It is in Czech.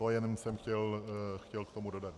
To jenom jsem chtěl k tomu dodat.